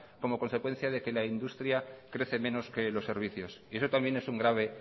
como consecuencia de que la industria crece menos que los servicios y eso también es un grave